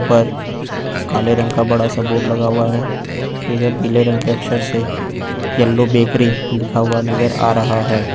ऊपर काले रंग का बड़ा-सा बोर्ड लगा हुआ है पीले रंग के अक्षर से येलो बेकरी लिखा हुआ नजर आ रहा है।